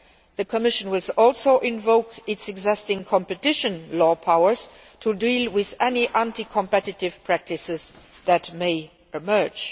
The Commission will also invoke its existing competition law powers to deal with any anti competitive practices that may emerge.